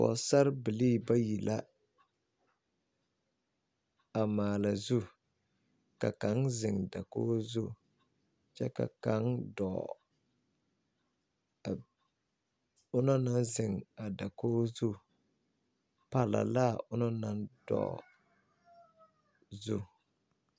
Pɔgsarre bilii bayi la a maale zu ka kanga zeng dakuo zu kye ka kang duo a ɔngna nang zeng a dokuo zu palla laa a ɔngna nang dou zu.